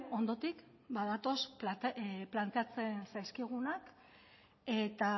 ondotik badatoz planteatzen zaizkigunak eta